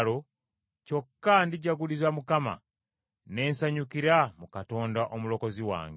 kyokka ndijaguliza Mukama , ne nsanyukira mu Katonda Omulokozi wange.